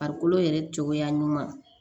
Farikolo yɛrɛ cogoya ɲuman